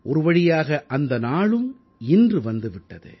ஒருவழியாக அந்த நாளும் இன்று வந்தே விட்டது